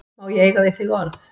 Má ég eiga við þig orð?